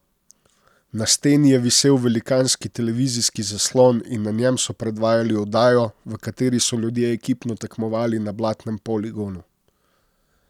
Na steni je visel velikanski televizijski zaslon in na njem so predvajali oddajo, v kateri so ljudje ekipno tekmovali na blatnem poligonu.